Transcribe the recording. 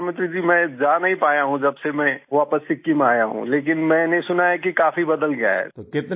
जी प्रधानमत्री जी मैं जा नहीं पाया हूँ जबसे में वापस सिक्किम आया हूँ लेकिन मैंने सुना है कि काफी बदल गया है